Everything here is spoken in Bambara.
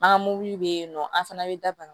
An ka mobili bɛ yen nɔ an fana bɛ daga